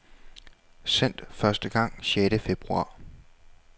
Sendt første gang sjette februar.